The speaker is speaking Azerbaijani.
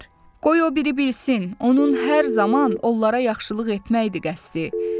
Qoy o biri bilsin, onun hər zaman onlara yaxşılıq etməkdir qəsdi.